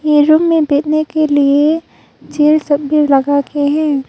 ये रूम में देखने के लिए चिल्ड सब भी लगा के है।